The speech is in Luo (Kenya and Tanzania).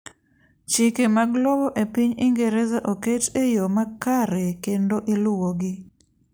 chike mag lowo e piny ingereza oket e yoo makare kendo iluwogi